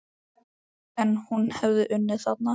En hún hefði unnið þarna.